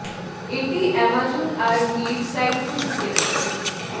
এটি অ্যামাজন আর মি র সাইট থেকে কেনা যাবে